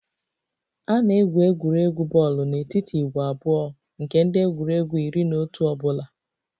A na-egwu egwuregwu bọọlụ n'etiti ìgwè abụọ nke ndị egwuregwu iri na otu ọ bụla